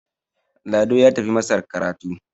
Lado ya tafi masar karatu